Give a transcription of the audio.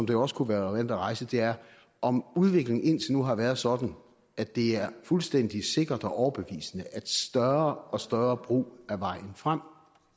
jo også kunne være reelt at rejse er om udviklingen indtil nu har været sådan at det er fuldstændig sikkert og overbevisende at større og større brug er vejen frem